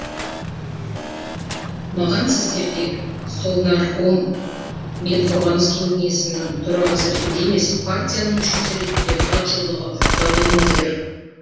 маған сіздерге совнарком мен қорғаныс кеңесінің төрағасы ретінде емес партияның мүшесі ретінде хат жолдауға рұқсат етіңіздер